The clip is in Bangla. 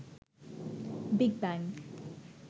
big bang